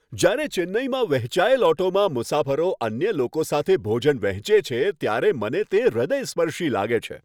જ્યારે ચેન્નઈમાં વહેંચાયેલ ઓટોમાં મુસાફરો અન્ય લોકો સાથે ભોજન વહેંચે છે ત્યારે મને તે હૃદયસ્પર્શી લાગે છે.